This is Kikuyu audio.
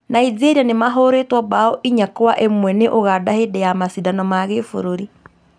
Nigeria nĩ mahũrĩtwo mbaũ inya kwa imwe nĩ Ũganda hĩndĩ ya macindano na gĩbũrũri